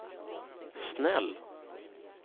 snäll